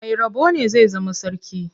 Mai rabo ne zai zama sarki.